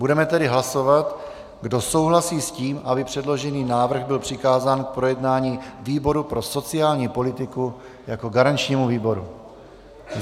Budeme tedy hlasovat, kdo souhlasí s tím, aby předložený návrh byl přikázán k projednání výboru pro sociální politiku jako garančnímu výboru.